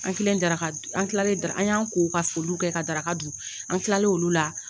An kilen daraka dun an kilale an y'an ko ka foliw kɛ ka daraka dun an kilalen olu la.